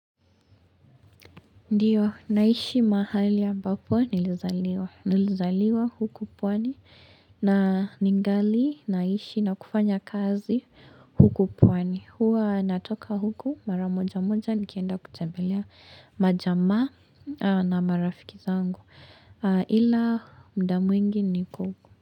Ndiyo naishi mahali ambapo nilizaliwa huku pwani na ningali naishi na kufanya kazi huku pwani huwa natoka huku maramoja mmoja nikienda kutembelea majamaa na marafiki zangu ila muda mwingi niko huku.